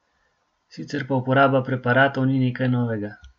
Sicer pa uporaba preparatov ni nekaj novega.